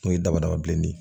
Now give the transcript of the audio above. N'o ye dabada bilenni ye